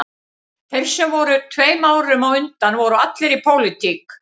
Þeir sem voru tveim árum á undan voru allir í pólitík